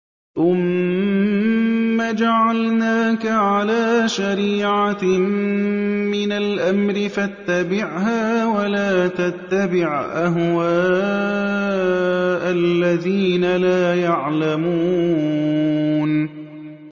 ثُمَّ جَعَلْنَاكَ عَلَىٰ شَرِيعَةٍ مِّنَ الْأَمْرِ فَاتَّبِعْهَا وَلَا تَتَّبِعْ أَهْوَاءَ الَّذِينَ لَا يَعْلَمُونَ